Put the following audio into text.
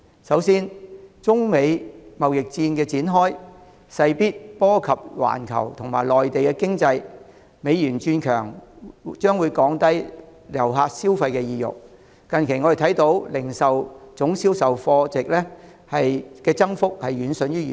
首先，中美貿易戰展開，勢必波及環球及內地的經濟，美元轉強，將會降低遊客的消費意欲，我們見到近期零售業總銷貨價值的增幅遠遜於預期。